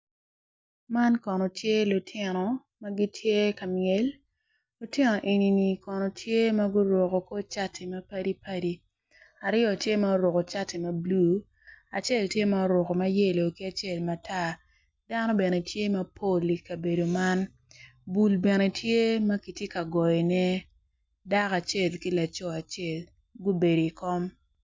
Man kono tye lutino magitye ka myel lutino enini kono tye maguruko cati mapadi padi aryo tye ma oruko cati mablue acel tye ma oruko ma yelo ki acel matar dano bene tye mapol i kabedo man bul bene tye makitye ka goyone dako acel ki laco acel gubeod i kom.